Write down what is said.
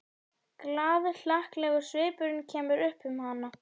Glaðhlakkalegur svipurinn kemur upp um hana.